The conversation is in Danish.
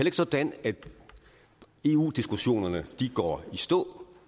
ikke sådan at eu diskussionerne går i stå